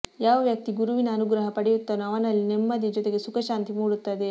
ಯಾವ ವ್ಯಕ್ತಿ ಗುರುವಿನ ಅನುಗ್ರಹ ಪಡೆಯುತ್ತಾನೋ ಅವನಲ್ಲಿ ನೆಮ್ಮದಿಯ ಜೊತೆಗೆ ಸುಖಶಾಂತಿ ಮೂಡುತ್ತದೆ